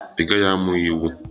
Ị gaghị amụ iwu!